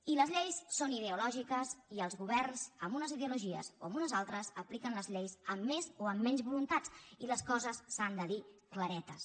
i les lleis són ideològiques i els governs amb unes ideologies o amb unes altres apliquen les lleis amb més o amb menys voluntat i les coses s’han de dir claretes